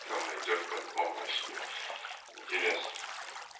там найдёшь по-любому о себе интерес